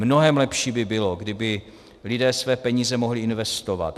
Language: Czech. Mnohem lepší by bylo, kdyby lidé své peníze mohli investovat.